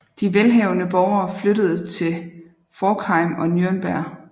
De velhavende borgere flygtede til Forchheim og Nürnberg